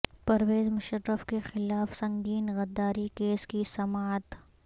پرویز مشرف کے خلاف سنگین غداری کیس کی سماعت